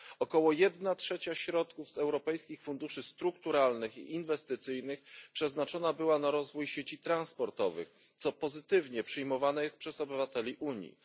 Około jedna trzecia środków z europejskich funduszy strukturalnych i inwestycyjnych, przeznaczona na rozwój sieci transportowych, jest pozytywnie przyjmowane przez obywateli Unii.